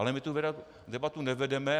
Ale my tu debatu nevedeme.